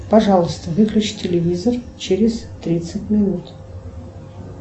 пожалуйста выключи телевизор через тридцать минут